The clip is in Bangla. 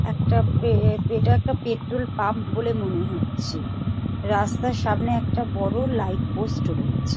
একটা পে এটা একটা পেট্রোল পাম্প বলে মনে হচ্ছে রাস্তার সামনে একটা বড় লাইট পোষ্ট রয়েছে।